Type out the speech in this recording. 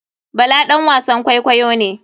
Bala ɗan wasan kwaikwayo ne.